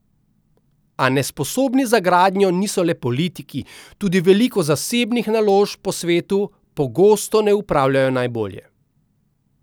A nesposobni za gradnjo niso le politiki, tudi veliko zasebnih naložb po svetu pogosto ne upravljajo najbolje.